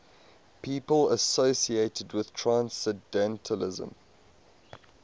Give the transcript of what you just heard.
people associated with transcendentalism